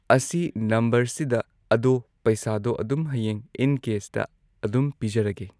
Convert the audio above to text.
ꯑꯁꯤ ꯅꯝꯕꯔꯁꯤꯗ ꯑꯗꯣ ꯄꯩꯁꯥꯗꯣ ꯑꯗꯨꯝ ꯍꯌꯦꯡ ꯏꯟ ꯀꯦꯁꯇ ꯑꯗꯨꯝ ꯄꯤꯖꯔꯒꯦ